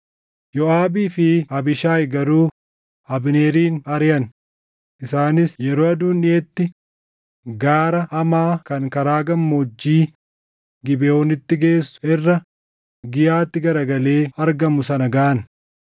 Yooʼaabii fi Abiishaayi garuu Abneerin ariʼan; isaanis yeroo aduun dhiʼetti gaara Amaa kan karaa gammoojjii Gibeʼoonitti geessu irra Giiyaatti garagalee argamu sana gaʼan.